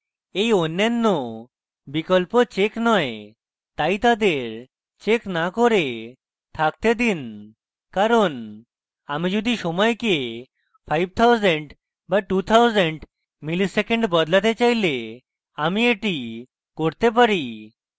এই অন্যান্য বিকল্প চেক নয় তাই তাদের চেক না করে থাকতে দিন কারণ আমি যদি সময়কে 5000 বা 2000 milliseconds বদলাতে চাইলে আমি এটি করতে পারি